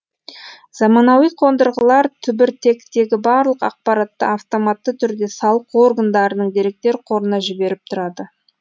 заманауи қондырғылар түбіртектегі барлық ақпаратты автоматты түрде салық органдарының деректер қорына жіберіп тұрады